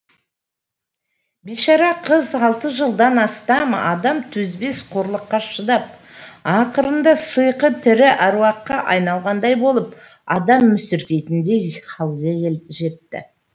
бейшара қыз алты жылдан астам адам төзбес қорлыққа шыдап ақырында сыйқы тірі әруаққа айналғандай болып адам мүсіркейтіндей халге жетті